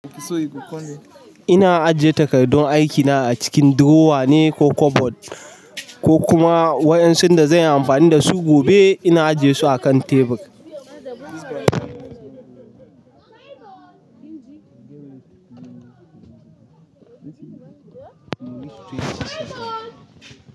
Ina ajiye takardun aikina a cikin durowa ne ko kabad, ko kuma waɗansun da zanyi amfani dasu gobe ina ajesu akan tebur.